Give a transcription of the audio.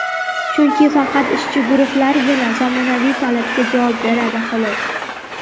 Chunki faqat ishchi guruhlargina zamonaviy talabga javob beradi, xolos.